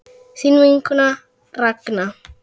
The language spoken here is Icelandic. Þín vinkona Ragna.